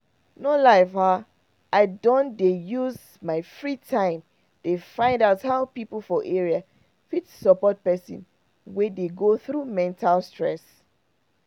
no lie i don dey use my free time dey find out how people for area fit support person wey dey go through mental stress.